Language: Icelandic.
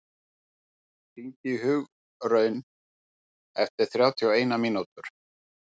Þóri, hringdu í Hugraun eftir þrjátíu og eina mínútur.